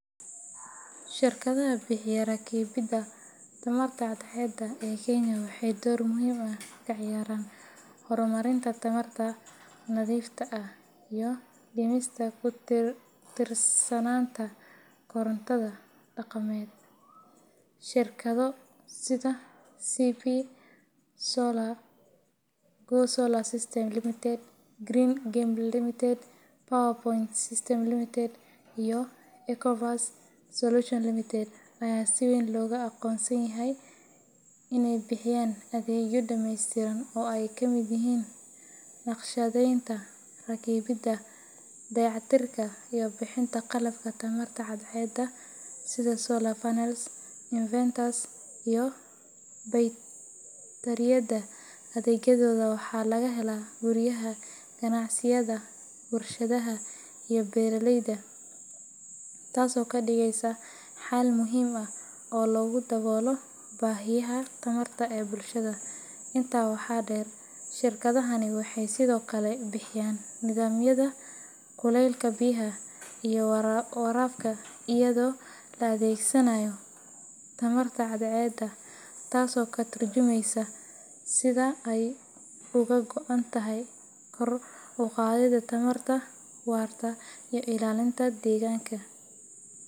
Shirkadaha bixiya rakibidda tamarta cadceedda ee Kenya waxay door muhiim ah ka ciyaaraan horumarinta tamarta nadiifta ah iyo dhimista ku tiirsanaanta korontada dhaqameed. Shirkado sida CP Solar, Go Solar Systems Ltd, Green Camel Ltd, PowerPoint Systems Ltd, iyo Ecoverse Solutions Ltd ayaa si weyn loogu aqoonsan yahay inay bixiyaan adeegyo dhammaystiran oo ay ka mid yihiin naqshadeynta, rakibidda, dayactirka, iyo bixinta qalabka tamarta cadceedda sida solar panels, inverters, iyo baytariyada. Adeegyadooda waxaa laga helaa guryaha, ganacsiyada, warshadaha, iyo beeraleyda, taasoo ka dhigaysa xal muhiim ah oo lagu daboolo baahiyaha tamarta ee bulshada. Intaa waxaa dheer, shirkadahani waxay sidoo kale bixiyaan nidaamyada kuleylka biyaha iyo waraabka iyadoo la adeegsanayo tamarta cadceedda, taasoo ka tarjumaysa sida ay uga go’an tahay kor u qaadida tamarta waarta iyo ilaalinta deegaanka.